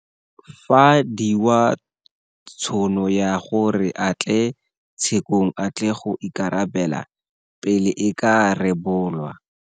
Fa diwa tšhono ya gore a tle tshe kong a tle go ikarabela pele e ka rebolwa.